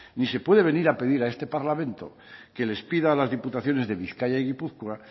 ni se puede venir a pedir a este parlamento que les pida a las diputaciones de bizkaia y gipuzkoa